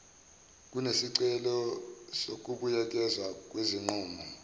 kunesicelo sokubuyekezwa kwesinqumo